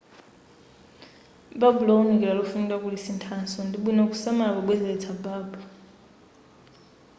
babu lowunikira lofunika kulisinthaso ndibwino kusamala pobwezeletsa babu